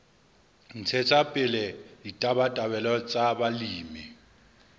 ntshetsa pele ditabatabelo tsa balemi